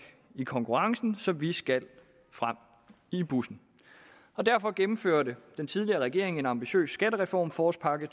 i konkurrencen så vi skal frem i bussen derfor gennemførte den tidligere regering en ambitiøs skattereform forårspakke